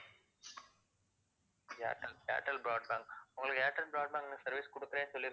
Airtel Airtel broadband உங்களுக்கு Airtel broadband ல service குடுக்கறேன்னு சொல்லி~